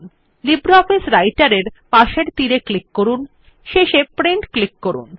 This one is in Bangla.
লিব্রিঅফিস রাইটের এর পাশের তীর এ ক্লিক করুন এবং শেষে প্রিন্ট ক্লিক করুন